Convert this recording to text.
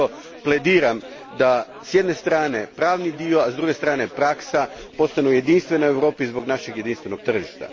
Zato plediram da s jedne strane pravni dio, a s druge strane praksa, postanu jedinstveni u Europi zbog našeg jedinstvenog tržišta.